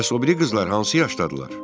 Bəs o biri qızlar hansı yaşdadırlar?